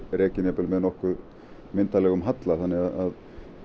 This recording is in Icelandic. rekinn jafnvel með nokkuð myndarlegum halla þannig að